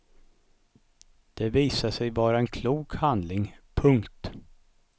Det visade sig vara en klok handling. punkt